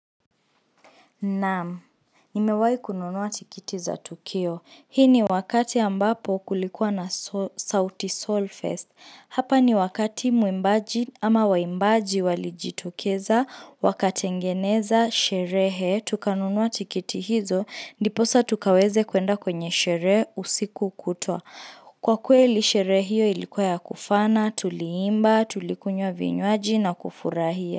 Naam, nimewai kununua tikiti za Tukio. Hii ni wakati ambapo kulikuwa na sauti Soul fest. Hapa ni wakati mwimbaji ama waimbaji walijitokeza, wakatengeneza, sherehe, tukanunua tikiti hizo, ndiposa tukaweze kuenda kwenye sherehe usiku kutwa. Kwa kweli sherehe hiyo ilikuwa ya kufana, tuliimba, tulikunywa vinywaji na kufurahia.